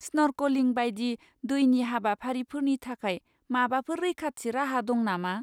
Snorkelling बायदि दैनि हाबाफारिफोरनि थाखाय माबाफोर रैखाथि राहा दं नामा?